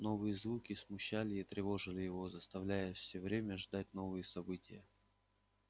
новые звуки смущали и тревожили его заставляя все время ждать новые события